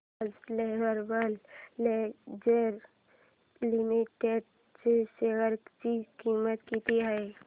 आज lovable lingerie limited च्या share ची किंमत किती आहे